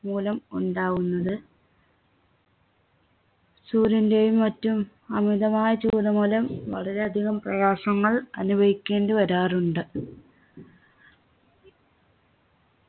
മൂലം ഉണ്ടാകുന്നത് സൂര്യന്റെയും മറ്റും അമിതമായ ചൂട് മൂലം വളരെയധികം പ്രയാസങ്ങൾ അനുഭവിക്കേണ്ടി വരാറുണ്ട്